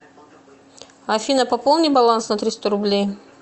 афина пополни баланс на триста рублей